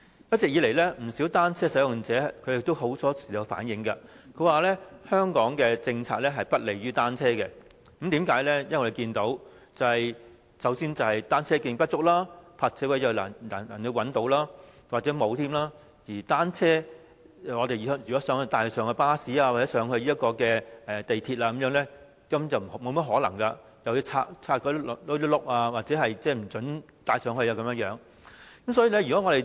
一直以來，不少單車使用者經常反映，香港的政策不利於單車，因為我們看到，首先是單車徑不足，其次是難以找到泊車位，有些地方甚至沒有泊車位；如果想將單車帶上巴士或港鐵，根本沒甚麼可能，乘客或須將車輪拆下，甚至不准把單車帶入車廂。